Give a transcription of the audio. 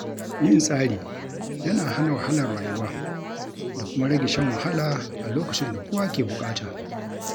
Yin tsari yana hana wahalar rayuwa da kuma rage shan wahala a lokacin da kowa ke buƙata.